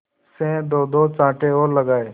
से दोदो चांटे और लगाए